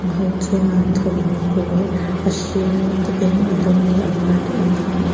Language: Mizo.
pang ho chuan thawmhnaw pawl a hring a eng a dum leh a var te an ha a.